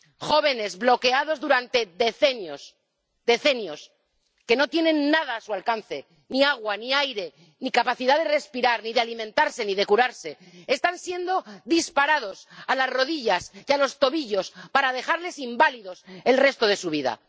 Jóvenes bloqueados durante decenios —decenios—, que no tienen nada a su alcance —ni agua, ni aire, ni capacidad de respirar, ni de alimentarse, ni de curarse—, están siendo disparados a las rodillas y a los tobillos para dejarles inválidos el resto de su vida.